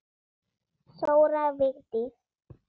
Þóra Vigdís.